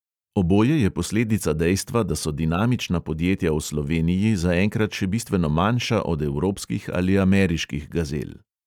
Oboje je posledica dejstva, da so dinamična podjetja v sloveniji zaenkrat še bistveno manjša od evropskih ali ameriških gazel.